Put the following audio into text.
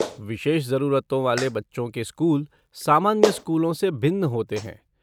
विशेष ज़रूरतों वाले बच्चों के स्कूल सामान्य स्कूलों से भिन्न होते हैं।